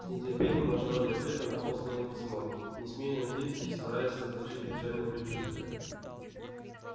с нетерпением ожидал я ответа на посланное письмо не смея надеяться и стараясь заглушить печальные предчувствия